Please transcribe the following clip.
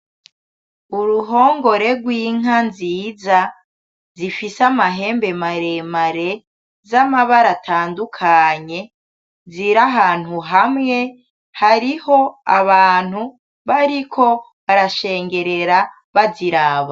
Uruhongore rw'inka nziza zifise amahembe maremare z’amabara atandukanye, zir’ahantu hamwe hariho abantu bariko barashengerera baziraba.